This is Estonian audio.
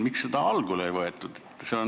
Miks seda algul siit ei võetud?